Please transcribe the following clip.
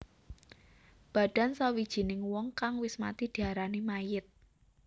Badan sawijining wong kang wis mati diarani mayit